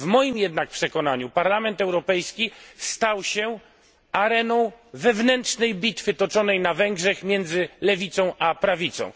W moim jednak przekonaniu Parlament Europejski stał się areną wewnętrznej bitwy toczonej na Węgrzech między lewicą a prawicą.